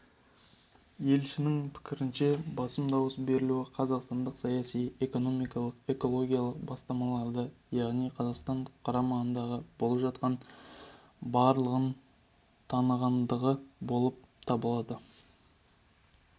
елшінің пікірінше басым дауыс берілуі қазақстандық саяси экономикалық экологиялық бастамаларды яғни қазақстан қоғамында болып жатқандардың барлығын танығандығы болып табылады